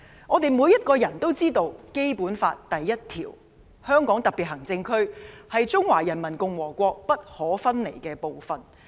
我們每個人都知道，《基本法》第一條"香港特別行政區是中華人民共和國不可分離的部分"。